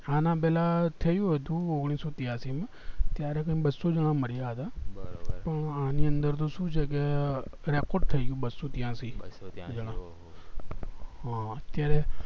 આના પેલા થયું હતું